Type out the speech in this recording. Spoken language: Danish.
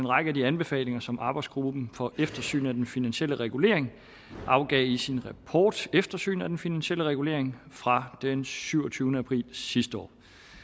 række af de anbefalinger som arbejdsgruppen for eftersyn af den finansielle regulering afgav i sin rapport eftersyn af den finansielle regulering fra den syvogtyvende april sidste år